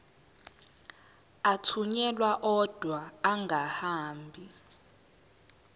athunyelwa odwa angahambi